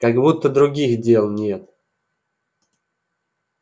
как будто других дел нет